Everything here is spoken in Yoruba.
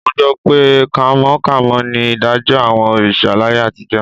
Mo gbọ́ pé kánmọ́kánmọ́ ni ìdájọ́ àwọn òrìṣà láyé àtijọ́